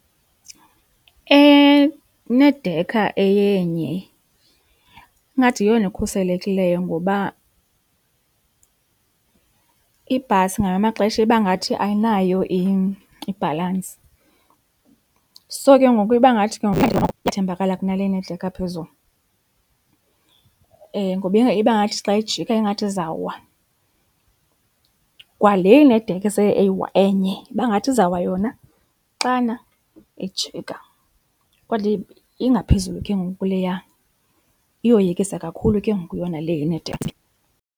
Enedekha eyenye ingathi yiyona ikhuselekileyo ngoba ibhasi ngamanye amaxesha iba ngathi ayinayo ibhalansi so ke ngoku iba ngathi iyathembakala kunale enedekha ephezulu, ngoba iba ngathi xa ijika ingathi izawa. Kwa le inedekha enye iba ngathi izawuwa yona xana ijika kodwa ingaphezulu ke ngoku kuleya. Iyoyikisa kakhulu ke ngoku yona le inedekha ezimbini.